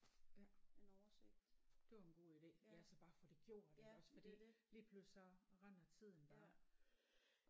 Ja det var en god ide ja så bare få det gjort iggås fordi lige pludselig så render tiden bare